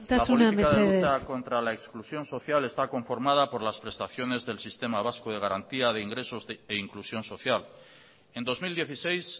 isiltasuna mesedez la política de lucha contra la exclusión social está conformada por las prestaciones del sistema vasco de garantía de ingresos e inclusión social en dos mil dieciséis